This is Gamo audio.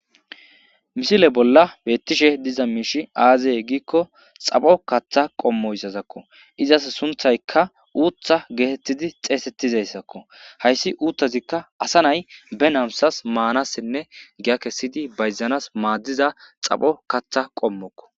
misile bolla beettishe diza miishi aazeye giikko xapho katha qommoyssazakko izas sunthayka uuththa geetettidi xeesettizayssakko hayssi uuttazikka asa nay be namsas maanassinne giyakessidi bayzanas maaddiza xapho katha qommokko